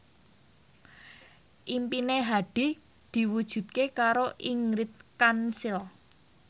impine Hadi diwujudke karo Ingrid Kansil